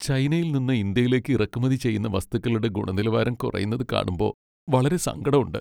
ചൈനയിൽ നിന്ന് ഇന്ത്യയിലേക്ക് ഇറക്കുമതി ചെയ്യുന്ന വസ്തുക്കളുടെ ഗുണനിലവാരം കുറയുന്നത് കാണുമ്പോ വളരെ സങ്കടം ഉണ്ട്.